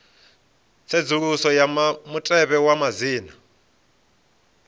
tsedzuluso ya mutevhe wa madzina